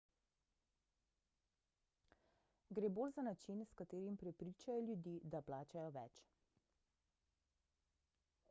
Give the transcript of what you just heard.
gre bolj za način s katerim prepričajo ljudi da plačajo več